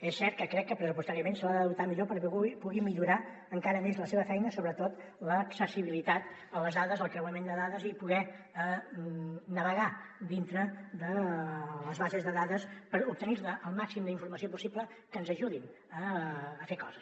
és cert que crec que pressupostàriament se l’ha de dotar millor perquè pugui millorar encara més la seva feina sobretot l’accessibilitat a les dades el creuament de dades i poder navegar dintre de les bases de dades per obtenir ne el màxim d’informació possible que ens ajudin a fer coses